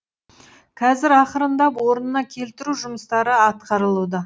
қазір ақырындап орнына келтіру жұмыстары атқарылуда